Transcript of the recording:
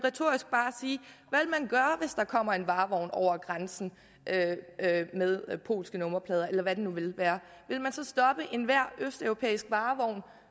gøre hvis der kommer en varevogn over grænsen med polske nummerplader eller hvad det nu vil være vil man så stoppe enhver østeuropæisk varevogn